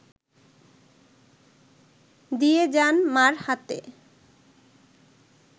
দিয়ে যান মা’র হাতে